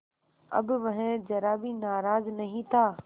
अब वह ज़रा भी नाराज़ नहीं था